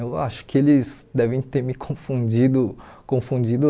Eu acho que eles devem ter me confundido, confundido